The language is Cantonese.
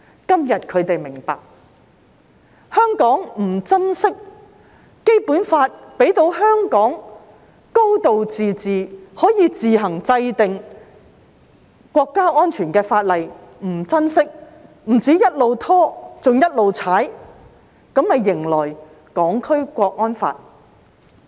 今天他們明白，香港不珍惜《基本法》賦予香港"高度自治"，可以自行制定涉及國家安全的法例卻不珍惜，不單一直拖延，更不斷"踩"它，這便迎來《香港國安法》。